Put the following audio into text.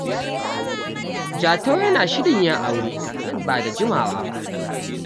Jatau yana shirin yin aure nan ba da jimawa ba.